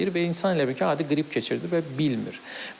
Və insan elə bil ki, adi qrip keçirdi və bilmir.